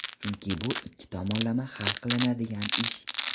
Chunki bu ikki tomonlama hal qilinadigan ish.